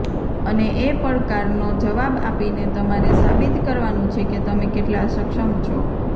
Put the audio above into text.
અને એ પડકાર નો જવાબ આપીને તમારે સાબિત કરવાનું છે કે તમે કેટલા સક્ષમ છો